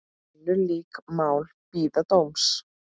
Önnur lík mál bíða dóms.